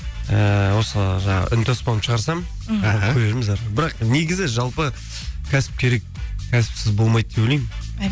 ііі осы жаңағы үнтаспамды шығарсам мхм көрерміз әрі қарай бірақ негізі жалпы кәсіп керек кәсіпсіз болмайды деп ойлаймын